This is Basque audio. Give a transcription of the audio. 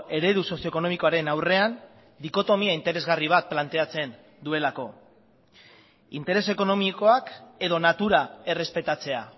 eredu sozio ekonomikoaren aurrean dikotomia interesgarri bat planteatzen duelako interes ekonomikoak edo natura errespetatzea